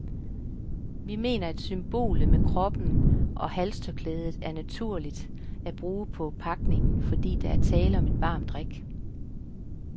Vi mener, at symbolet med koppen og halstørklædet er naturligt at bruge på pakningen, fordi der er tale om en varm drik.